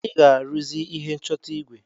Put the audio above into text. Ị ga-aruzi ihe nchọta igwe.